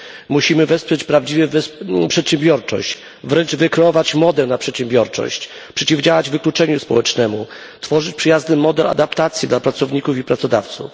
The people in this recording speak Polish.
Musimy wesprzeć przedsiębiorczość, wręcz wykreować modę na przedsiębiorczość, przeciwdziałać wykluczeniu społecznemu, tworzyć przyjazny model adaptacji dla pracowników i pracodawców.